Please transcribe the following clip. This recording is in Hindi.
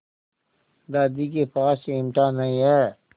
दादी के पास चिमटा नहीं है